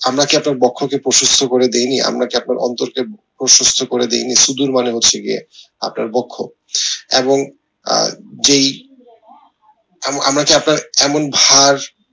আমরা কি আপনার বক্ষ কে প্রসস্থ করে দিইনি আমরা কি আপনার অন্তর কে প্রশস্ত করে দিইনি হচ্ছে গিয়ে আপনার বক্ষ এবং আহ যেই আমা আমরা কি আপনার এমন